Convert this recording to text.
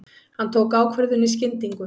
Hann tók ákvörðun í skyndingu.